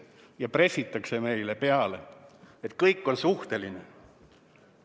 Meile pressitakse peale, et kõik on suhteline.